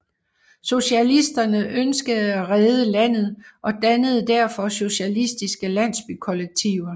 Sosialisterne ønskede at redde landet og dannede derfor socialistiske landsbykollektiver